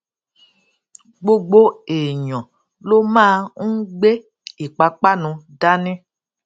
gbogbo èèyàn ló máa ń gbé ìpápánu dání